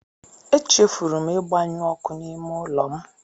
Echefuru m ịgbanyụ ọkụ n'ime ụlọ m.